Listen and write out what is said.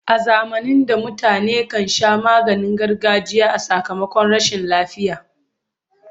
A zamanin da mutane kan sha maganin gargajiya a sakamakon rashin lafiya.